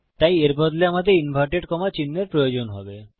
তাই এর বদলে আমাদের ইনভার্টেড কম্মা চিহ্নের প্রয়োজন হবে